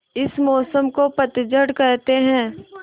इस मौसम को पतझड़ कहते हैं